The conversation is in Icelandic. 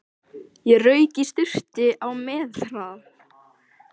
Ég rauk í sturtu á methraða.